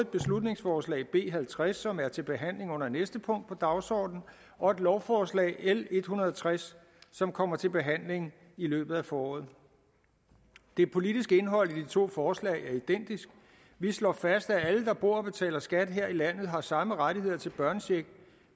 beslutningsforslag b halvtreds som er til behandling under næste punkt på dagsordenen og et lovforslag l en hundrede og tres som kommer til behandling i løbet af foråret det politiske indhold i de to forslag er identiske vi slår fast at alle der bor og betaler skat her i landet har samme rettigheder til børnecheck